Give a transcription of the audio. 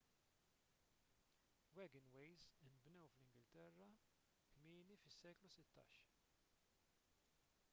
wagonways inbnew fl-ingilterra kmieni fis-seklu 16